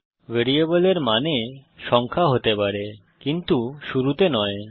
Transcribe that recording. ভ্যারিয়েবলের মানে সংখ্যা হতে পারে কিন্তু শুরুতে নয়